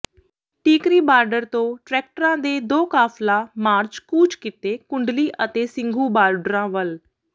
Tikri border ਤੋਂ ਟ੍ਰੈਕਟਰਾਂ ਦੇ ਦੋ ਕਾਫਲਾ ਮਾਰਚ ਕੂਚ ਕੀਤੇ ਕੁੰਡਲੀ ਅਤੇ ਸਿੰਘੂ ਬਾਰਡਰਾਂ ਵੱਲ